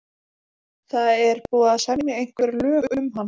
Það er búið að semja einhver lög um hann.